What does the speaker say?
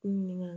Ɲininka